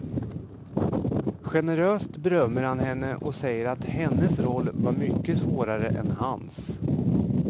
Generöst berömmer han henne och säger att hennes roll var mycket svårare än hans.